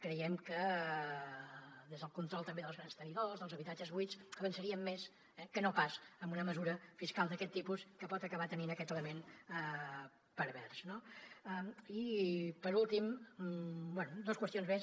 creiem que des del control també dels grans tenidors dels habitatges buits avançaríem més que no pas amb una mesura fiscal d’aquest tipus que pot acabar tenint aquest element pervers no i per últim bé dos qüestions més